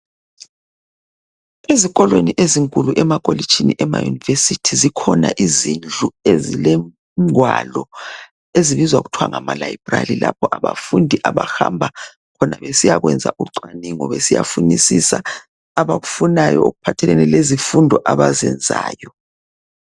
Ezikolweni ezinkulu emakolitshini, emayunivesithi zikhona izindlu izilengwalo ezibizwa kuthwa ngama layibrali lapho abafundi abahamba khona basiyekwenzi ucwaningo, besiyafunisisa abakufunayo okuphathelene lezifundo abazenzayo.